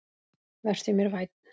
Vertu mér vænn